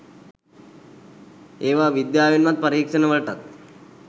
ඒවා විද්‍යාවෙන්වත් පරීක්ෂණ වලටත්